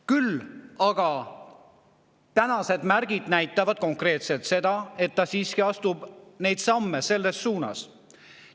Küll aga märgid näitavad konkreetselt, et Trump siiski astub samme selles suunas.